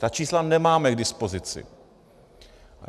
Ta čísla nemáme k dispozici.